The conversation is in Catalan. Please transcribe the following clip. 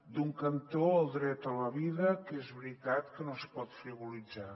d’un cantó el dret a la vida que és veritat que no es pot frivolitzar